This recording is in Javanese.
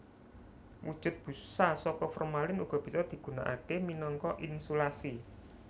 Wujud busa saka formalin uga bisa digunakaké minangka insulasi